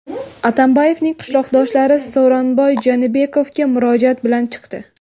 Atambayevning qishloqdoshlari Sooranbay Jeenbekovga murojaat bilan chiqdi.